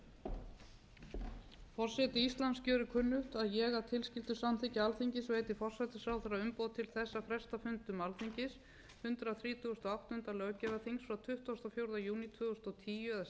og áttunda löggjafarþings frá tuttugasta og fjórða júní tvö þúsund og tíu eða síðar ef nauðsyn krefur til annars september gjört á bessastöðum tuttugasta og þriðja júní tvö þúsund og tíu